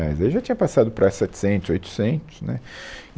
daí já tinha passado para setecentos, oitocentos, né